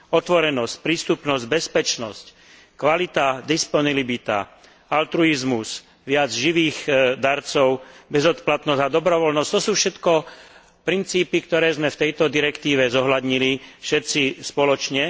Otvorenosť, prístupnosť, bezpečnosť, kvalita, disponibilita, altruizmus, viac živých darcov, bezodplatnosť a dobrovoľnosť to sú všetko princípy, ktoré sme v tejto direktíve zohľadnili všetci spoločne.